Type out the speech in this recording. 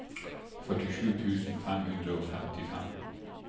førtisju tusen fem hundre og femtifem